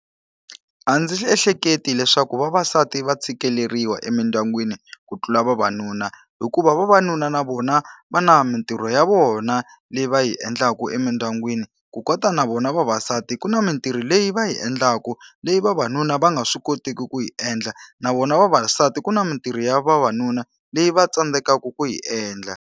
A ndzi ehleketi leswaku vavasati va tshikeleriwa emindyangwini ku tlula vavanuna. Hikuva vavanuna na vona va na mintirho ya vona leyi va yi endlaku emindyangwini. Ku kota na vona vavasati ku na mintirho leyi va yi endlaku leyi vavanuna va nga swi koteki ku yi endla, na vona vavasati ku na mintirho ya vavanuna leyi va tsandzekaka ku yi endla